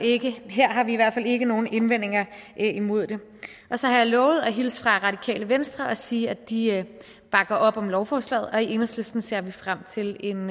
ikke her har vi i hvert fald ikke nogen indvendinger imod det så har jeg lovet at hilse fra radikale venstre og sige at de bakker op om lovforslaget og i enhedslisten ser vi frem til en